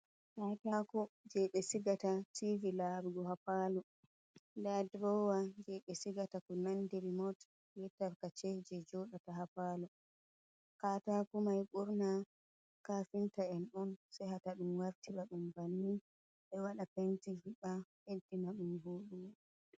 Katako, jeɓe sigata tivi larugo ha palo, nda durowa jeɓe sigata ko nandi rimot bee tarkace je joɗata ha palo, katako mai ɓurna kafinta en on sey hawta ɗum wartira ɗum banni, ɓe waɗa penti heɓa ɓeɗɗinaɗum voɗugo.